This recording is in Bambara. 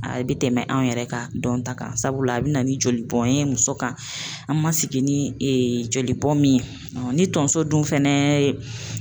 A bɛ tɛmɛ anw yɛrɛ kan dɔnta kan sabula a be na ni jolibɔn ye muso kan, an ma sigi ni jolibɔn min ye ni tonso dun fɛnɛ ye